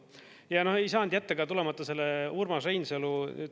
Ja ei saanud jätta tulemata selle Urmas Reinsalu …